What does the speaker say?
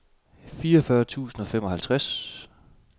fireogfyrre tusind og femoghalvtreds